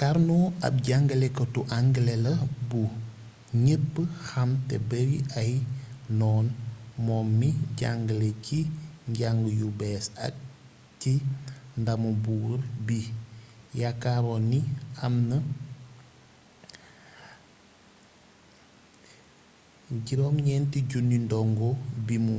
karno ab jangalekatu angale la bu ñépp xam te bari ay noon moom mi jangale ci njang yu bees ak ci ndamu buur bi yaakaaroon ni am na 9 000 dongo bimu